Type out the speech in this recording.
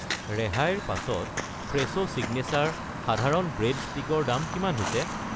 ৰেহাইৰ পাছত Fresho signature সাধাৰণ ব্ৰেড ষ্টিক ৰ দাম কিমান হৈছে?